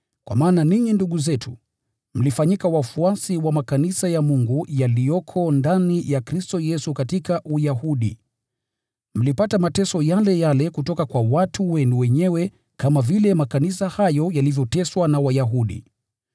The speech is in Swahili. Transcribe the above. Kwa maana ninyi ndugu zetu, mlifanyika wafuasi wa makanisa ya Mungu yaliyoko ndani ya Kristo Yesu katika Uyahudi. Mlipata mateso yale yale kutoka kwa watu wenu wenyewe kama vile makanisa hayo yalivyoteswa na Wayahudi,